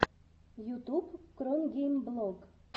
ютуб кронгеймблог